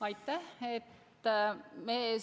Aitäh!